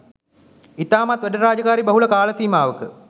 ඉතාමත් වැඩ රාජකාරි බහුල කාල සීමාවක